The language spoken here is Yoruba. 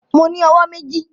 Mo ní owó méjì